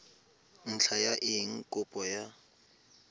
ntlha ya eng kopo ya